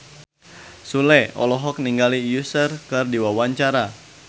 Sule olohok ningali Usher keur diwawancara